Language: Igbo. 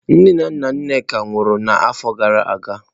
Nne na nna Nneka nwụrụ n'afọ gara aga.